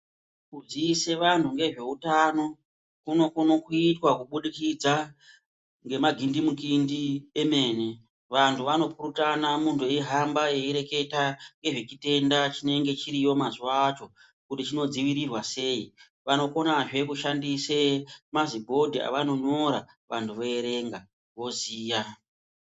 Kuziise vanhu ngezveutano kunokone kuitwa kubudikidza ngemagindimukindi emene. Vantu vanopurutana muntu eyihamba eyireketa ngezvechitenda chinenge chiriyo mazuwa acho kuti chinodzivirirwa sei, vanokonazve kushandise mazibhodhi avanonyora vanhu voyerenga voziya.